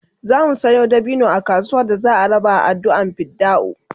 zamu Sayo dabino a kasuwa da za'a raba a adduan fidda'u